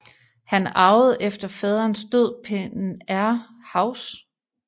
Han arvede efter faderens død Penair House